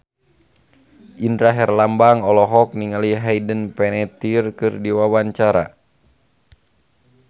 Indra Herlambang olohok ningali Hayden Panettiere keur diwawancara